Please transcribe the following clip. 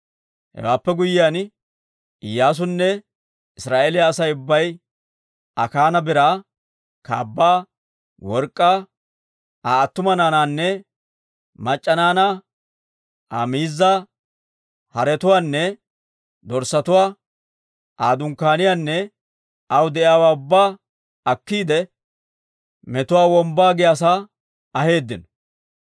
Hewaappe guyyiyaan Iyyaasunne Israa'eeliyaa Asay ubbay Akaana biraa, kaabbaa, work'k'aa, Aa attuma naanaanne mac'c'a naanaa, Aa miizzaa, haretuwaanne dorssatuwaa, Aa dunkkaaniyaanne aw de'iyaawaa ubbaa akkiide, Metuwaa Wombbaa giyaasaa aheeddino.